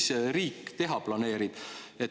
Mis siis riik teha planeerib?